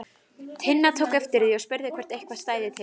Tinna tók eftir því og spurði hvort eitthvað stæði til.